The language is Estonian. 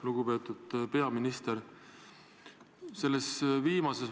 Lugupeetud peaminister!